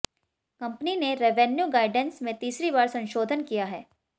company ने revenue guidance में तीसरी बार संशोधन किया है